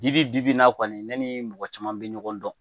Dibi bi bi in na kɔni ne ni mɔgɔ caman bɛ ɲɔgɔn dɔn